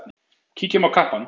Kíkjum á kappann.